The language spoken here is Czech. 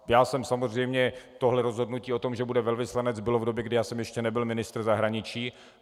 Já jsem samozřejmě - tohle rozhodnutí o tom, že bude velvyslanec, bylo v době, kdy já jsem ještě nebyl ministr zahraničí.